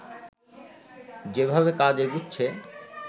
যেভাবে কাজ এগুচ্ছে